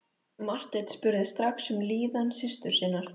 Marteinn spurði strax um líðan systur sinnar.